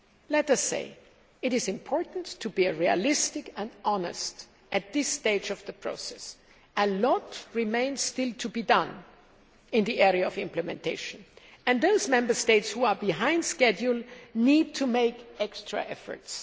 Let us say it is important to be realistic and honest at this stage of the process. A lot still remains to be done in the area of implementation, and those Member States who are behind schedule need to make extra efforts.